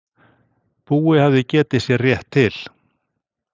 Búi hafði getið sér rétt til.